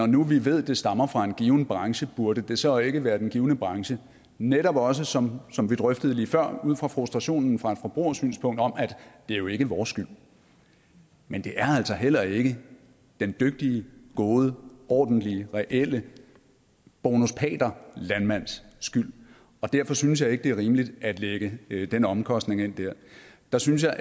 nu ved at det stammer fra en given branche burde det så ikke være den givne branche der netop også som som vi drøftede lige før ud fra frustrationen fra et forbrugersynspunkt om at det jo ikke er vores skyld men det er altså heller ikke den dygtige gode ordentlige reelle bonus pater landmands skyld og derfor synes jeg ikke det er rimeligt at lægge lægge den omkostning ind der der synes jeg